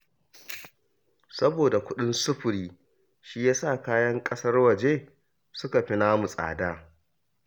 Saboda kuɗin sufuri, shi ya sa kayan ƙasar waje suka fi namu tsada